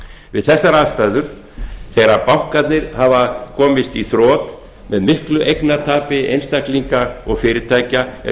við þessar aðstæður þegar bankarnir hafa komist í þrot með miklu eignatapi einstaklinga og fyrirtækja er